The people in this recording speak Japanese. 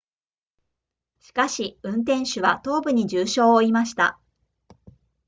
しかし運転手は頭部に重傷を負いました